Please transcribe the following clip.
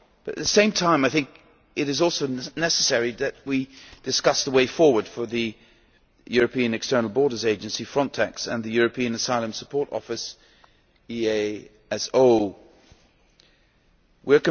At the same time I think it is necessary that we discuss the way forward for the European External Borders Agency FRONTEX and the European Asylum Support Office We